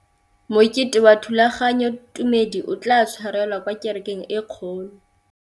Mokete wa thulaganyôtumêdi o tla tshwarelwa kwa kerekeng e kgolo.